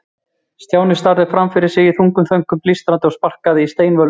Stjáni starði fram fyrir sig í þungum þönkum, blístraði og sparkaði í steinvölur.